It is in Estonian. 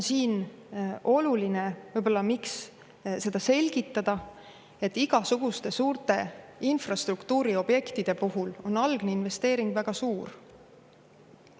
Siin on võib-olla oluline selgitada, et igasuguste suurte infrastruktuuriobjektide puhul on algne investeering väga suur.